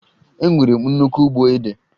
Enwere m nnukwu ugbo ede